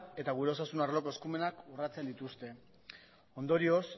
eta gure osasun arloko eskumenak urratzen dituzte ondorioz